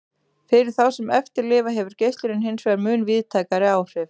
Fyrir þá sem eftir lifa hefur geislunin hinsvegar mun víðtækari áhrif.